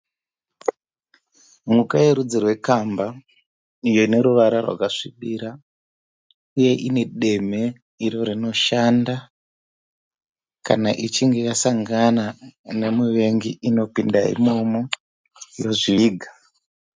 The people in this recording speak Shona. Mhuka yerudzi rwekamba iyo ine ruvara rwakasvibira uye ine demhe iro rinoshanda kana ichinge yasangana nemuvengi inopinda imomo yozviviga.